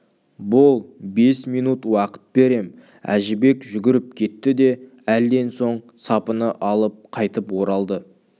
бол бес минут уақыт берем әжібек жүгіріп кетті де әлден соң сапыны алып қайтып оралды